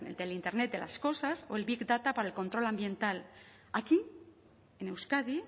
del internet las cosas o el big data para el control ambiental aquí en euskadi